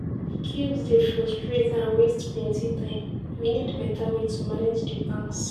Queues dey frustrate and waste plenty time, we need beta way to manage di banks.